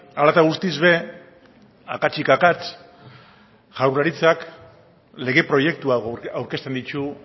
hala eta guztiz ere akatsik akats jaurlaritzak lege proiektua aurkezten ditu